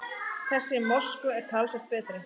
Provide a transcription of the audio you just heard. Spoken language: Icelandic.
Þessi í Moskvu er talsvert betri.